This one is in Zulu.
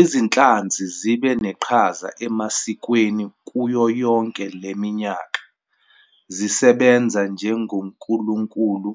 Izinhlanzi zibe neqhaza emasikweni kuyo yonke le minyaka, zisebenza njengonkulunkulu,